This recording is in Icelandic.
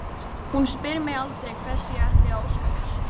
Hún spyr mig aldrei hvers ég ætli að óska mér.